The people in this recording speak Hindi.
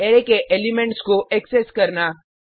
अरै के एलिमेंट्स को एक्सेस करना